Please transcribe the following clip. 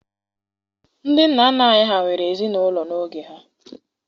Ndị nna nna anyị ha nwere ezinaụlọ n'oge ha.